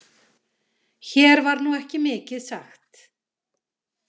Hér var nú ekki mikið sagt.